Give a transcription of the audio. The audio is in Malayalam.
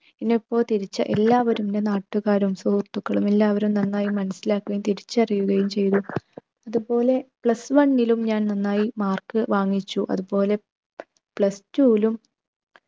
എല്ലാവരും എൻ്റെ നാട്ടുകാരും സുഹൃത്തുക്കളും എല്ലാവരും നന്നായി മനസിലാക്കുകയും തിരിച്ചറിയുകയും ചെയ്തു. അതുപോലെ plus one ലും നന്നായി mark വാങ്ങിച്ചു. അതുപോലെ plus two ലും